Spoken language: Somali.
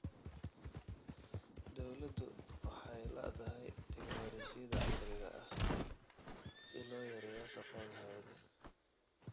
Dawladdu waxay la�dahay tignoolajiyada casriga ah si loo yareeyo wasakhowga hawada.